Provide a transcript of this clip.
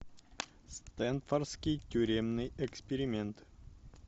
стэнфордский тюремный эксперимент